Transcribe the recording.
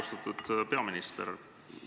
Austatud peaminister!